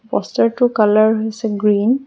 Poster টোৰ colour হৈছে green.